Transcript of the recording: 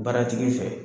Baaratigi fɛ